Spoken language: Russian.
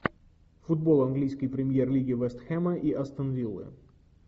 футбол английской премьер лиги вест хэма и астон виллы